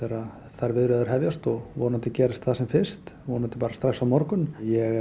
þær viðræður hefjast vonandi gerist það sem fyrst vonandi strax á morgun ég er